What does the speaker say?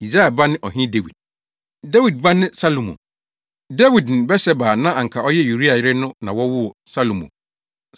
Yisai ba ne Ɔhene Dawid. Dawid ba ne Salomo. Dawid ne Batseba a na anka ɔyɛ Uria yere no na wɔwoo Salomo.